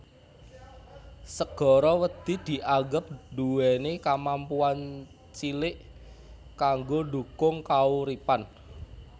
Segara wedhi dianggep nduwèni kamampuan cilik kanggo ndhukung kauripan